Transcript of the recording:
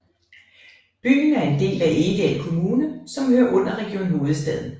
Byen er en del af Egedal Kommune som hører under Region Hovedstaden